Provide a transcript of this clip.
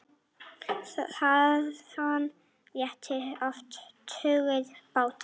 Þaðan réru oft tugir báta.